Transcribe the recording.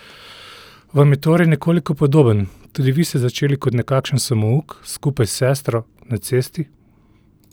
Vam je torej nekoliko podoben, tudi vi ste začeli kot nekakšen samouk, skupaj s sestro, na cesti?